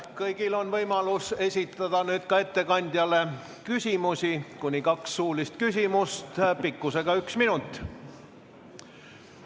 Kõigil on võimalus esitada nüüd ettekandjale küsimusi, kuni kaks suulist küsimust pikkusega üks minut.